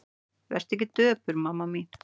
Vertu ekki döpur mamma mín.